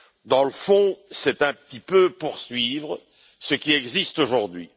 Dans le fond, c'est un petit peu poursuivre ce qui existe aujourd'hui.